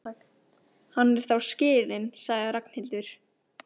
Hann er þá skilinn, sagði Ragnhildur.